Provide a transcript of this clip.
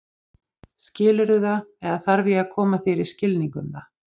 Skilurðu það eða þarf ég að koma þér í skilning um það?